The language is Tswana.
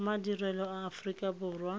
gomadirelo a aforika borwa a